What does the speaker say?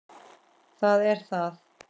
Það er það!